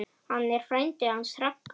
Hann er frændi hans Ragga.